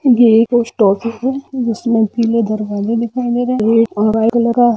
ये एक post office है जिसमे पीले दरवाजे दिखाई दे रहे हैव्हाइट कलर का--